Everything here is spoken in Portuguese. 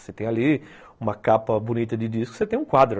Você tem ali uma capa bonita de disco, você tem um quadro.